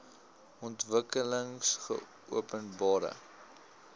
ontwikkelingopenbare